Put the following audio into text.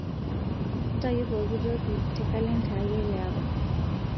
ntayu pokitoki te kalenda ai elaapa